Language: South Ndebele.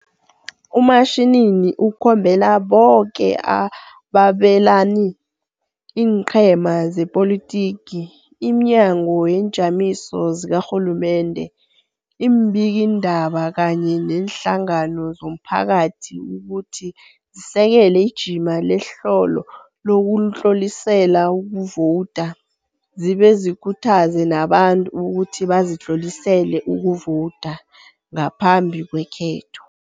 UMashinini ukhombela boke ababelani, iinqhema zepolitiki, iminyango neenjamiso zikarhulumende, iimbikiindaba kunye neenhlangano zomphakathi ukuthi zisekele ijima nehlelo lokutlolisela ukuvowuda, zibe zikhuthaze nabantu ukuthi bazitlolisele ukuvowuda, ngaphambi kwekhetho.